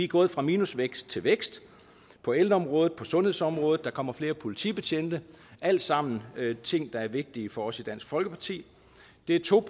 gået fra minusvækst til vækst på ældreområdet på sundhedsområdet og der kommer flere politibetjente alt sammen er det ting der er vigtige for os i dansk folkeparti det to